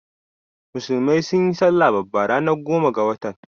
Musulmai sunyi salla babba ranar goma ga watan.